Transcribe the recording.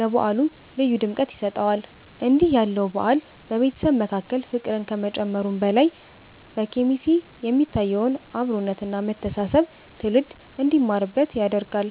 ለበዓሉ ልዩ ድምቀት ይሰጠዋል። እንዲህ ያለው በዓል በቤተሰብ መካከል ፍቅርን ከመጨመሩም በላይ፣ በኬሚሴ የሚታየውን አብሮነት እና መተሳሰብ ትውልድ እንዲማርበት ያደርጋል።